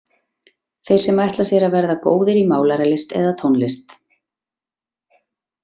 Þeir sem ætla sér að verða góðir í málaralist eða tónlist.